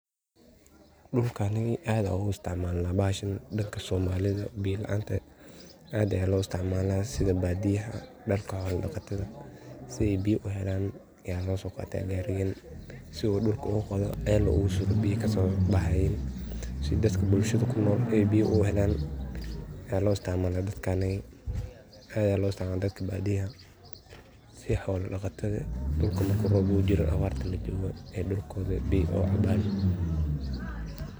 Qoofkali aad Aya u isticmalnah bahashan dadka somalida beeya laanta aad Aya lo isticmalah setha baadiyaah dadka xola daqatatha setha beeya u heelan Aya lo soqatah si dulka ceel ugu qaathoh oo beeya kasobaxaya setha dadaka bulshada kunool aay beeya u heelan Aya lo isticmalah dadkanaga aad Aya lo isticmalah dadaka baadiyaah setha xoola daqatha dulka muku roobka oo u jeedoh awaarta ee dulkotha beeya kacabeen .